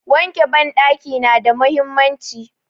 Wanke banɗaki nada mahimmanci.